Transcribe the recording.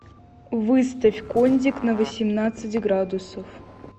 выставь кондик на восемнадцать градусов